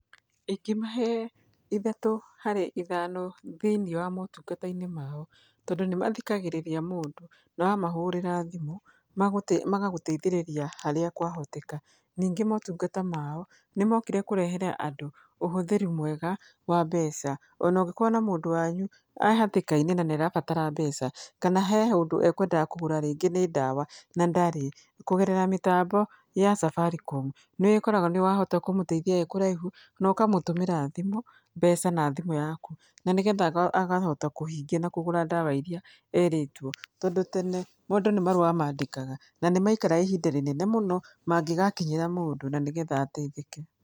Ingĩmahe ithatũ harĩ ithano thĩiniĩ wa motungata-inĩ mao tondũ nĩ mathikagĩrĩria mũndũ, na wamahũrĩra thimũ, magagũteithĩrĩria harĩa kwahoteka. Ningĩ motungata mao, nĩ mokire kũrehere andũ, ũhũthĩri mwega wa mbeca. Ona ũngĩkorwo na mũndũ wanyu ee hatĩka-inĩ na nĩ arabatara mbeca, kana he ũndũ ekwendaga kũgũra rĩngĩ nĩ ndawa na ndarĩ. Kũgerera mĩtambo ya Safaricom, nĩ wĩkoraga nĩ wahota kũmũteithia wĩ kũraihu, na ũkamũtũmĩra thimũ, mbeca na thimũ ĩyo yaku, na nĩgetha agahota kũhingia na kũgũra ndawa irĩa erĩtwo. Tondũ tene, mũndũ nĩ marũa mandĩkaga, na nĩ maikraga ihinda rĩnene mũno mangĩgakinyĩra mũndũ, na nĩgetha ateithĩke.